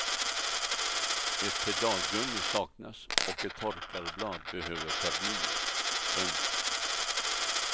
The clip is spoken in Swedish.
Ett pedalgummi saknas och ett torkarblad behöver förnyas. punkt